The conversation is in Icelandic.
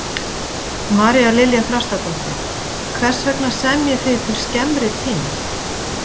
María Lilja Þrastardóttir: Hvers vegna semjið þið til skemmri tíma?